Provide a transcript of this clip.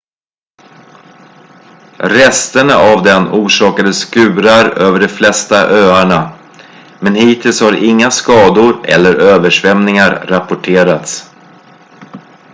resterna av den orsakade skurar över de flesta öarna men hittills har inga skador eller översvämningar rapporterats